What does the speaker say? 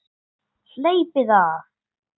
Hleypið af!